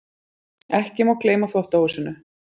Ekki má gleyma þvottahúsinu.